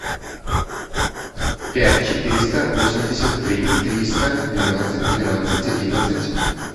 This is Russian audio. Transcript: пять четыреста восемьдесят три триста двенадцать тринадцать одиннадцать